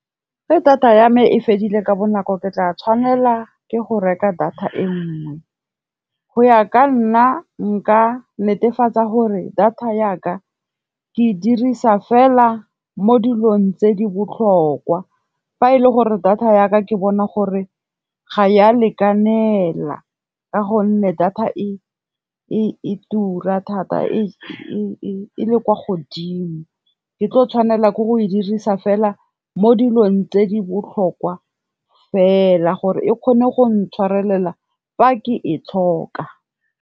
Fa data ya me e fedile ka bonako ke tla tshwanela ke go reka data e nngwe, go ya ka nna nka netefatsa gore data yaka ke e dirisa fela mo dilong tse di botlhokwa. Fa e le gore data yaka ke bona gore ga ya lekanela ka gonne data e tura thata e le kwa godimo, ke tlo tshwanela ke go e dirisa fela mo dilong tse di botlhokwa fela, gore e kgone go ntshwarelelwa fa ke e tlhoka.